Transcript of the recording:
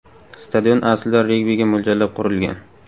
Stadion aslida regbiga mo‘ljallab qurilgan.